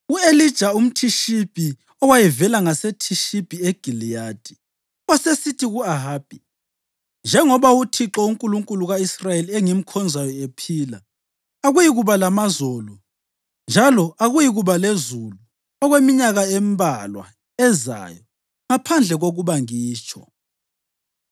U-Elija umThishibi owayevela ngaseThishibi eGiliyadi, wasesithi ku-Ahabi, “Njengoba uThixo, uNkulunkulu ka-Israyeli, engimkhonzayo ephila, akuyikuba lamazolo njalo akuyikuba lezulu okweminyaka embalwa ezayo ngaphandle kokuba ngitsho.”